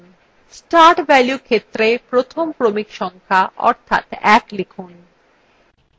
start value ক্ষেত্রে প্রথম ক্রমিক সংখ্যা অর্থাৎ 1 লিখুন